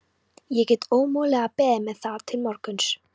Ég get ómögulega beðið með það til morguns.